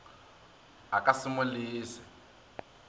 a ka se mo lese